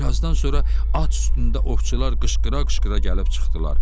Bir azdan sonra at üstündə ovçular qışqıra-qışqıra gəlib çıxdılar.